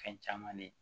Fɛn caman ne